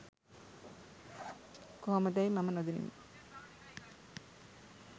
කොහොමදැයි මම නොදනිමි